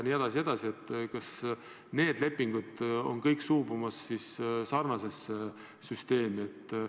Kas need lepingud on kõik suubumas sarnasesse süsteemi?